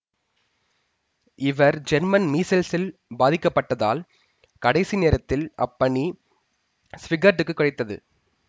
இவர் ஜெர்மன் மீசல்ஸ்ஆல் பாதிக்கப்பட்டதால் கடைசி நேரத்தில் அப்பணி ஸ்விகர்ட்டுக்கு கிடைத்தது